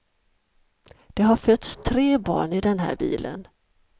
Det har fötts tre barn i den här bilen.